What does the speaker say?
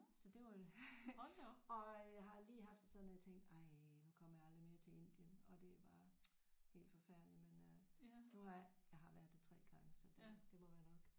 Så det var og øh jeg har lige haft det sådan at jeg tænkte ej nu kommer jeg aldrig mere til Indien og det er bare helt forfærdeligt men øh ved du hvad jeg har været der 3 gange så det det må være nok